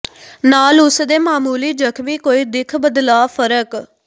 ਨਾਲ ਉਸ ਦੇ ਮਾਮੂਲੀ ਜ਼ਖ਼ਮੀ ਕੋਈ ਦਿੱਖ ਬਦਲਾਅ ਫ਼ਰਕ